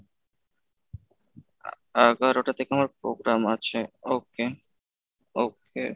এগারোটা থেকে আমার program আছে okay okay।